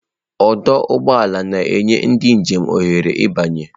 Ọdụ ụgbọ ala na-enye ndị njem ohere ịbanye.